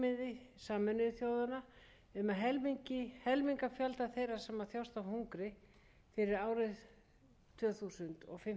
um að helminga fjölda þeirra sem þjást af hungri fyrir árið tvö þúsund og